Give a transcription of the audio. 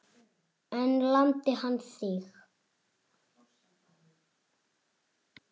En lamdi hann þig?